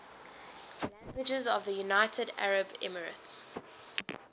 languages of the united arab emirates